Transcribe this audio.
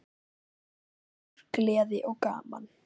Hlátur, gleði og gaman.